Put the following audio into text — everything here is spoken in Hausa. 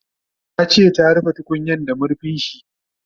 Tace ta rufe tukunyan da marfinshi